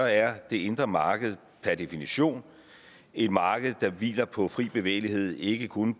er det indre marked per definition et marked der hviler på fri bevægelighed ikke kun